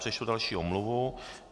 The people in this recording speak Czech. Přečtu další omluvu.